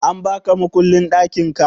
An baka mukullin ɗakinka?